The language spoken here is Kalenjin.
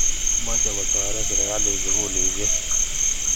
Mochei kotoret serikalit sukulishek